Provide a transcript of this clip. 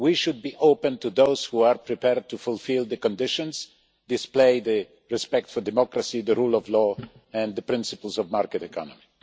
We should be open to those who are prepared to fulfil the conditions, display the respect for democracy, the rule of law and the principles of the market economy.